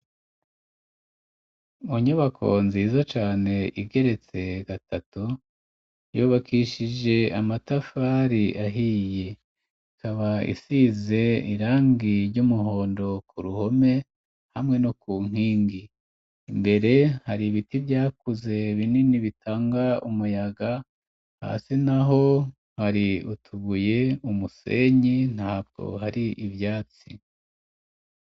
Mu nyubako nziza cane, igeretse gatatu, yubakishije amatafari ahiye, ikaba isize irangi ry'umuhondo ku ruhome, hamwe no ku nkingi ,imbere hari ibiti vyakuze binini bitanga umuyaga, hasi naho hari utubuye ,umusenyi ntabwo hari ivyatsi.